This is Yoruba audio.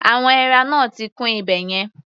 Àwọn èèrà náà ti kún ibẹ̀ yẹn.